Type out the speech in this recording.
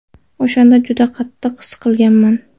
O‘shanda juda qattiq siqilganman.